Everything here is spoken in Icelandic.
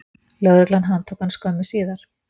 Lögreglan handtók hann skömmu síðar